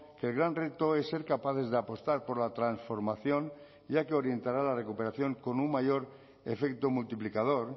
que el gran reto es ser capaces de apostar por la transformación ya que orientará la recuperación con un mayor efecto multiplicador